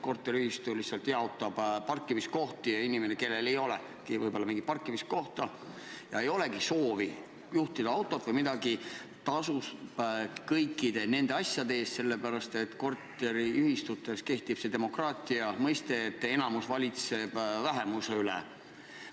Korteriühistu lihtsalt jaotab parkimiskohti ja inimene, kellel ei ole vaja parkimiskohta, kellel ei ole soovi juhtida autot, tasub ikkagi parkimiskoha eest, sellepärast et korteriühistus kehtib demokraatia, et enamus valitseb vähemuse üle.